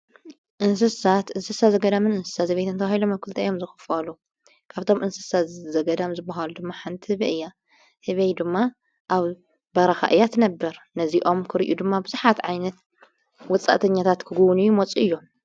እንስሳት እንስሳ ዘገዳምን እንሳ ዘቤይት እንተውሂሎ መኲልተ እዮም ዘኽፍዋሉ ካብቶም እንስሳ ዘገዳም ዝበሃሉ ድማ ሓንቲ ህብእያ ሕበይ ድማ ኣብ በራኻ እያት ነብር ነዚኦም ክርእዩ ድማ ብስኃት ዓይነት ውፃእተኛታት ክጕውን እዩ ሞጹእ እዮም።